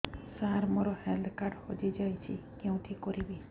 ସାର ମୋର health card ହଜି ଯାଇଛି କେଉଁଠି କରିବି